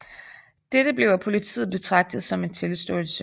Dette blev af politiet betragtet som en tilståelse